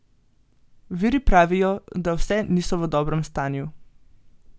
Viri pravijo, da vse niso v dobrem stanju.